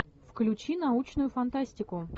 включи научную фантастику